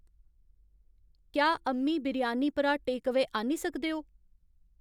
क्या अम्मी बिरयानी परा टेकअवेऽ आह्न्नी सकदे ओ